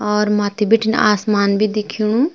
और माथी बीटिन आसमान भी दिखेणु।